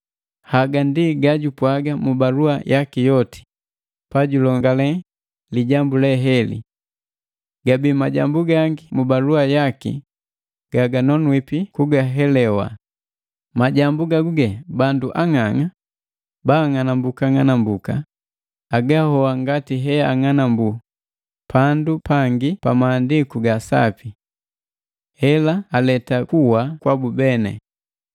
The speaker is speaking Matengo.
Haga ndi gajupwaga mu balua yaki yoti pajulongale lijambu leheli. Gabii majambu gangi mu balua yaki gaganonwipi kugahelewa, majambu gaguge bandu ang'ang'a baanga'anambuka ng'anambuka agahoa ngati he agang'anambu pandu pangi pa maandiku ga Sapi. Hela aleta kuwa kwabu beni.